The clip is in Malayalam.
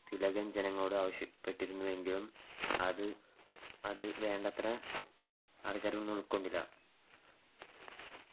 തിലകൻ ജനങ്ങളോട് ആവശ്യപ്പെട്ടിരുന്നുവെങ്കിലും അത് വേണ്ടത്ര ആൾക്കാരൊന്നും ഉൾക്കൊണ്ടില്ല.